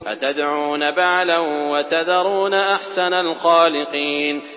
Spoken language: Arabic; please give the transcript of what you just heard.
أَتَدْعُونَ بَعْلًا وَتَذَرُونَ أَحْسَنَ الْخَالِقِينَ